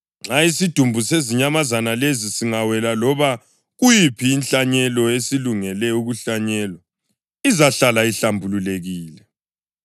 Nxa isidumbu sezinyamazana lezi singawela loba kuyiphi inhlanyelo esilungele ukuhlanyelwa, izahlala ihlambulukile.